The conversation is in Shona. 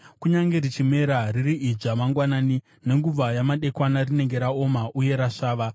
kunyange richimera riri idzva mangwanani, nenguva yamadekwana rinenge raoma uye rasvava.